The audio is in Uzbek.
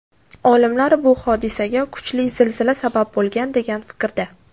Olimlar bu hodisaga kuchli zilzila sabab bo‘lgan degan fikrda.